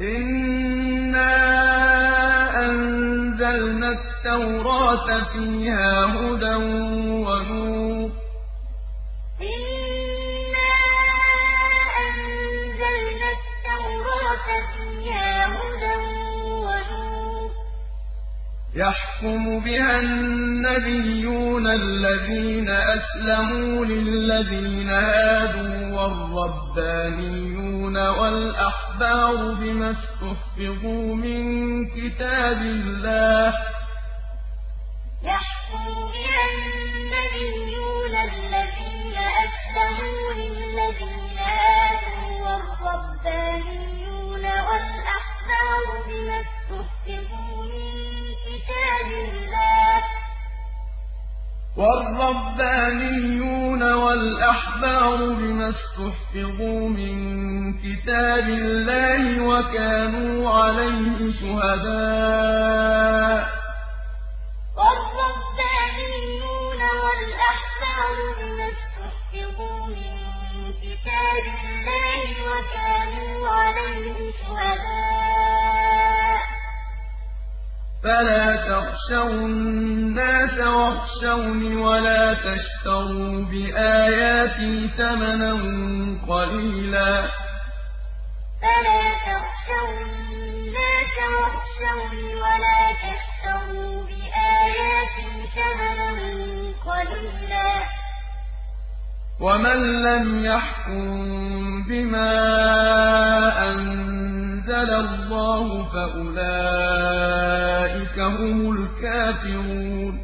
إِنَّا أَنزَلْنَا التَّوْرَاةَ فِيهَا هُدًى وَنُورٌ ۚ يَحْكُمُ بِهَا النَّبِيُّونَ الَّذِينَ أَسْلَمُوا لِلَّذِينَ هَادُوا وَالرَّبَّانِيُّونَ وَالْأَحْبَارُ بِمَا اسْتُحْفِظُوا مِن كِتَابِ اللَّهِ وَكَانُوا عَلَيْهِ شُهَدَاءَ ۚ فَلَا تَخْشَوُا النَّاسَ وَاخْشَوْنِ وَلَا تَشْتَرُوا بِآيَاتِي ثَمَنًا قَلِيلًا ۚ وَمَن لَّمْ يَحْكُم بِمَا أَنزَلَ اللَّهُ فَأُولَٰئِكَ هُمُ الْكَافِرُونَ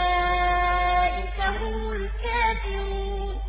إِنَّا أَنزَلْنَا التَّوْرَاةَ فِيهَا هُدًى وَنُورٌ ۚ يَحْكُمُ بِهَا النَّبِيُّونَ الَّذِينَ أَسْلَمُوا لِلَّذِينَ هَادُوا وَالرَّبَّانِيُّونَ وَالْأَحْبَارُ بِمَا اسْتُحْفِظُوا مِن كِتَابِ اللَّهِ وَكَانُوا عَلَيْهِ شُهَدَاءَ ۚ فَلَا تَخْشَوُا النَّاسَ وَاخْشَوْنِ وَلَا تَشْتَرُوا بِآيَاتِي ثَمَنًا قَلِيلًا ۚ وَمَن لَّمْ يَحْكُم بِمَا أَنزَلَ اللَّهُ فَأُولَٰئِكَ هُمُ الْكَافِرُونَ